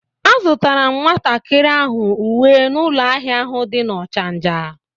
A zutara m nwatakiri ahu uwe n'ulo ahia ahu di na Ochanja